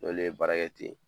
N'olu ye baara kɛ ten